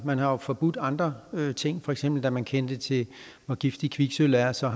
man har jo forbudt andre ting for eksempel da man fik kendskab til hvor giftigt kviksølv er og så